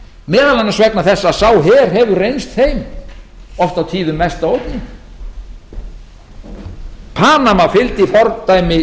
meðal annars vegna þess að sá her hefur reynst þeim oft á tíðum mesta ógnin panama fylgdi fordæmi